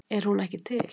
En er hún ekki til?